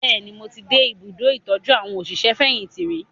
Bẹ́ẹ̀ni, mo ti dé ìbùdó ̣ìtọ́jú àwọn òṣìṣẹ́-fẹ̀yìntì rí